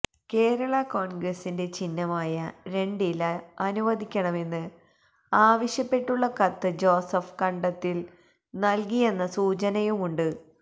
കേരള കോൺഗ്രസിന്റെ ചിഹ്നമായ രണ്ടില അനുവദിക്കണമെന്ന് ആവശ്യപ്പെട്ടുള്ള കത്ത് ജോസഫ് കണ്ടത്തിൽ നൽകിയെന്ന സൂചനയുമുണ്ട്